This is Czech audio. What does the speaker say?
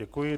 Děkuji.